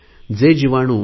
जे जीवाणू टी